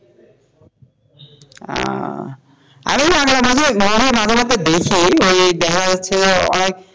উম আমিও বাংলা movie নাটক নাটক দেখি ওই দেখা যাচ্ছে অনেক,